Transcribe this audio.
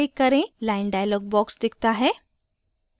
line dialog box दिखता है